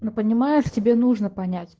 но понимаешь тебе нужно понять